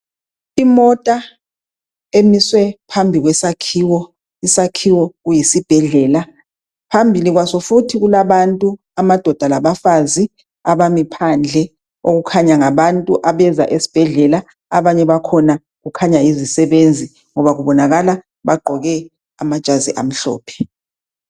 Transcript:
Imota emiswe phambi kwesakhiwo, isakhiwo kuyisibhedlela. Phambili kwaso futhi kulabantu amadoda labafazi abami phandle, okukhanya ngabantu abeza esibhedlela abanye bakhona kukhanya yizisebenzi ngoba kubonakala bagqoke amajazi amhlophe.